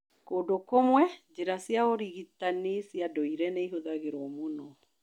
Kũndũ kũmwe, njĩra cia ũrigitani cia ndũire nĩ ihũthagĩrũo mũno.